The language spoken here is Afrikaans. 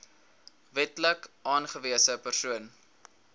wetlik aangewese persoon